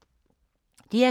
DR K